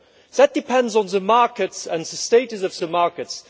That depends on the markets and the status of the markets.